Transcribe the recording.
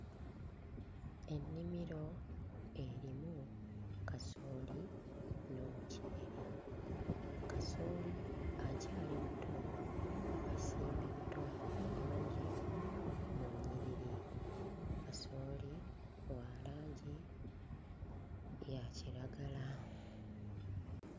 Ennimiro erimu kasooli n'omuceere, kasooli akyali muto asimbiddwa bulungi mu nnyiriri, kasooli wa langi ya kiragala.